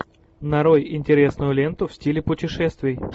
нарой интересную ленту в стиле путешествий